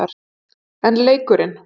En leikurinn?